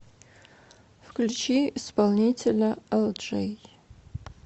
включи исполнителя элджей